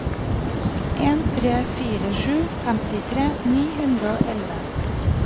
en tre fire sju femtitre ni hundre og elleve